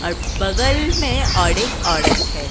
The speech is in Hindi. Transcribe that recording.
औ बगल में और एक औरत है।